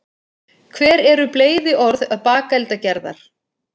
hver eru bleyðiorð bakeldagerðar